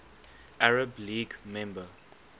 arab league member